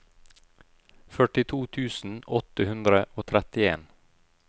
førtito tusen åtte hundre og trettien